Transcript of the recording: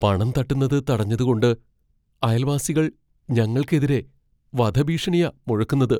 പണം തട്ടുന്നത് തടഞ്ഞതുകൊണ്ട് അയൽവാസികൾ ഞങ്ങൾക്കെതിരെ വധഭീഷണയാ മുഴക്കുന്നത് .